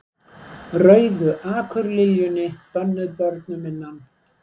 Rauðu akurliljunni, bönnuð börnum innan